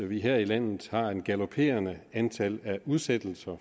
vi her i landet har en galoperende i antallet af udsættelser